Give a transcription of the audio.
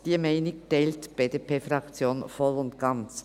Diese Meinung teilt die BDP-Fraktion voll und ganz.